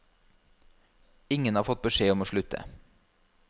Ingen har fått beskjed om å slutte.